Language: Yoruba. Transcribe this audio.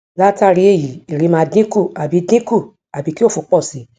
latari eyi ere maa dinku abi dinku abi ki ofo po si